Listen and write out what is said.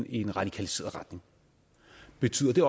i en radikaliseret retning betyder det